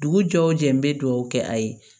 Dugu jɔw jɛ n bɛ dugawu kɛ a ye